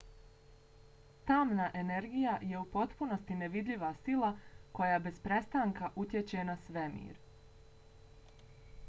tamna energija je u potpunosti nevidljiva sila koja bez prestanka utječe na svemir